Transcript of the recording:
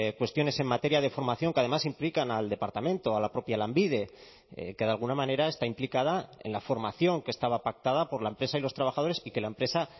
cuestiones en materia de formación que además implican al departamento a la propia lanbide que de alguna manera está implicada en la formación que estaba pactada por la empresa y los trabajadores y que la empresa